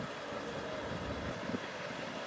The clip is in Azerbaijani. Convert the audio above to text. İndi biraz sürət yığıb qalxacaq yuxarı.